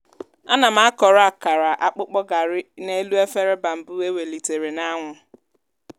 ana m akọrọ akara akpụkpọ garri n'elu efere bambụ e welitere n'anwụ.